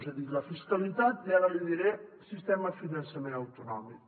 he dit la fiscalitat i ara li diré el sistema de finançament autonòmic